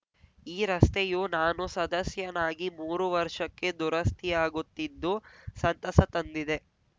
ಈ ರಸ್ತೆಯು ನಾನು ಸದಸ್ಯನಾಗಿ ಮೂರು ವರ್ಷಕ್ಕೆ ದುರಸ್ಥಿಯಾಗುತ್ತಿದ್ದು ಸಂತಸ ತಂದಿದೆ